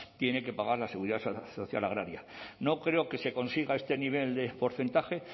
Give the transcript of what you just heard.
tiene que pagar la seguridad social agraria no creo que se consiga este nivel de porcentaje